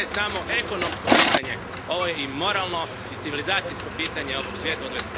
Ovo nije samo ekonomsko pitanje, ovo je i moralno i civilizacijsko pitanje ovog svijeta u